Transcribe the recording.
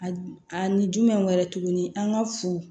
A a ni jumɛn wɛrɛ tuguni an ka fu